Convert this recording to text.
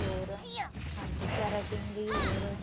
ਹੋਰ ਹਾਂਜੀ certain ਲਈ ਹੋਰ